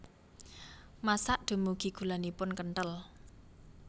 Masak dumugi gulanipun kenthel